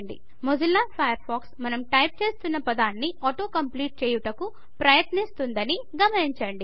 Mozilla Firefox మనం type చేస్తోన్న పదాన్ని ఆటో కంప్లీట్ చేయుటకు ప్రయత్నిస్తుందని గమనించండి